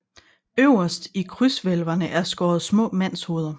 Øverst i krydshvælvene er skåret små mandshoveder